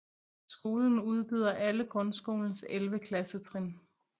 Skolen udbyder alle grundskolens 11 klassetrin